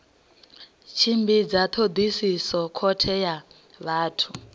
tshimbidza thodisiso khothe ya vhathu